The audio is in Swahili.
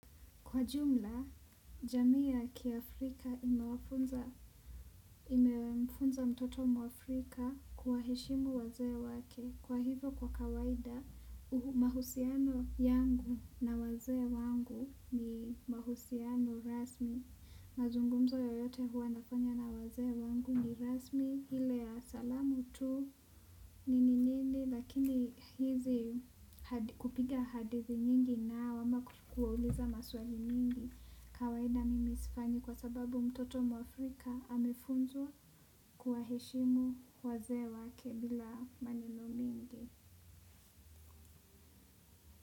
Kwa jumla, jamii ya kia Afrika imemfunza mtoto mwafrika kuwaheshimu wazee wake. Kwa hivyo kwa kawaida, mahusiano yangu na wazee wangu ni mahusiano rasmi. Mazungumzo yoyote huwa nafanya na wazee wangu ni rasmi, ile ya salamu tu, nini nini, lakini hizi kupiga hadithi nyingi nao ama kuwauliza maswali nyingi. Kawaida mimi sifanyi kwa sababu mtoto mwafrika amefunzwa kuwaheshimu wazee wake bila maneno mingi.